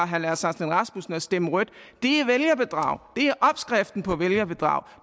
herre lars aslan rasmussen at stemme rødt det er vælgerbedrag det er opskriften på vælgerbedrag